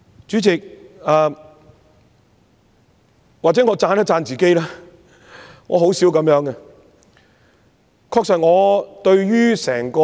主席，或許我得先讚一下自己——我很少這樣做的。